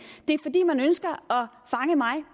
det er fordi man ønsker at fange mig